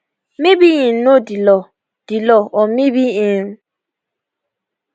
maybe im know di law di law or maybe im